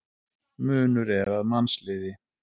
Munur er að mannsliði.